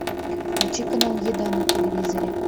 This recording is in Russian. включи канал еда на телевизоре